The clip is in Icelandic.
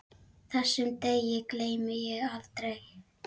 Þessum degi gleymi ég aldrei.